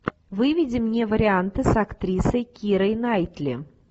выведи мне варианты с актрисой кирой найтли